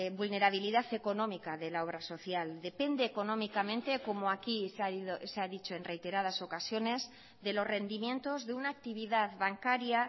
vulnerabilidad económica de la obra social depende económicamente como aquí se ha dicho en reiteradas ocasiones de los rendimientos de una actividad bancaria